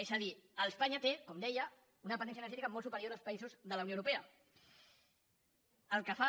és a dir espanya té com deia una dependència energètica molt superior als països de la unió europea cosa que fa